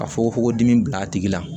Ka fogo fogo dimi bila a tigi la